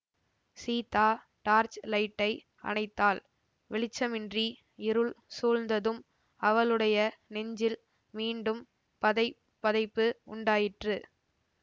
Sita torch லைட்டை அணைத்தாள் வெளிச்சமின்றி இருள் சூழ்ந்ததும் அவளுடைய நெஞ்சில் மீண்டும் பதை பதைப்பு உண்டாயிற்று